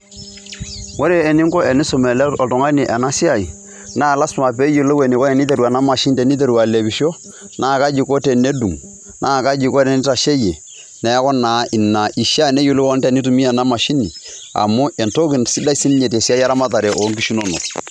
Ore eninko enisum oltung'ani ena siai naa lazima peeyolou eniko eniteru ena mashini teniteru alepisho, naa kaji iko tenedung', naa kaji iko tenitasheyie, neeku naa ina ishaa neyolou enitumia ena mashini amu entoki sidai sininye te siai eramatare o nkishu inonok.